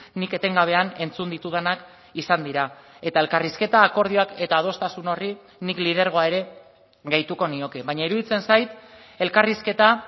nik etengabean entzun ditudanak izan dira eta elkarrizketa akordioak eta adostasun horri nik lidergoa ere gehituko nioke baina iruditzen zait elkarrizketa